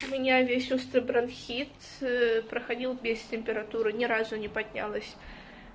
у меня есть острый бронхит э проходила без температуры ни разу не поднялась